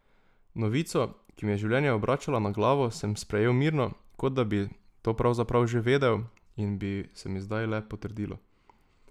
Novico, ki mi je življenje obračala na glavo, sem sprejel mirno, kot da bi to pravzaprav že vedel in bi se mi zdaj le potrdilo.